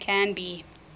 canby